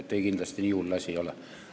Ei, nii hull asi kindlasti ei ole.